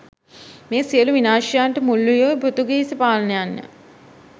මේ සියලු විනාශයන්ට මුල් වූයේ පෘතුගීසි පාලනයන් ය.